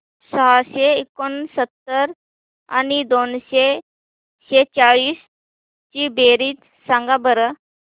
सहाशे एकोणसत्तर आणि दोनशे सेहचाळीस ची बेरीज सांगा बरं